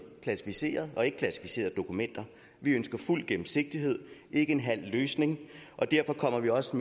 klassificerede og ikkeklassificerede dokumenter vi ønsker fuld gennemsigtighed ikke en halv løsning og derfor kommer vi også